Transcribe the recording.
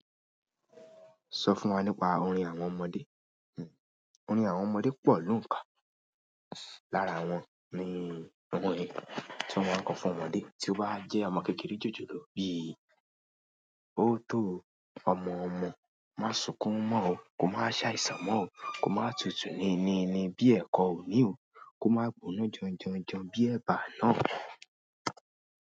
Sọ fún wa nípa orin àwọn ọmọdé. Orin àwọn ọmọdé pọ̀ lóǹkà, lára wọn ni gbogbo orin tí wọ́n máa ń kọ fún ọmọdé tí ó bá jẹ́ ọmọ kékeré jòjòló bí i ó tó ọmọ ọmọ, má sukún mọ́ ọ, kó má ṣàìsàn mọ́ ọ, kó má tutù ni ni ni bí ẹ̀kọ́ òní o, kó má gbóná janjanjan bí ẹ̀bà àná.